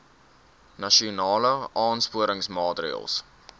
nasionale aansporingsmaatre ls